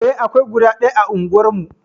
Eh, akwai guda ɗaya a unguwarmu.